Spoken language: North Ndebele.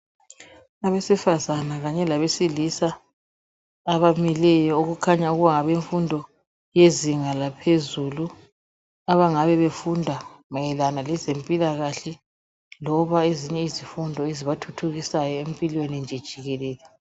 Abesifazana kanye labe silisa abamileyo okukhanya kungabemfundo yezinga laphezulu abangabe befunda mayelana lezempila kahle loba ezinye izifundo ezibathuthukusayo empilweni nje jikelele.